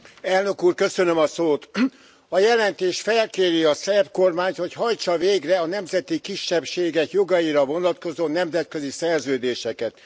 Tisztelt Elnök Úr! A jelentés felkéri a szerb kormányt, hogy hajtsa végre a nemzeti kisebbségek jogaira vonatkozó nemzetközi szerződéseket.